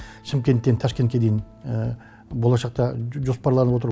шымкенттен ташкентке дейін болашақта жоспарланып отыр